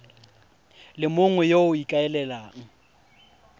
le mongwe yo o ikaelelang